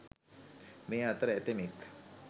මේ අතර ඇතැමෙක්